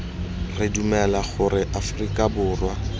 re dumela gore aforika borwa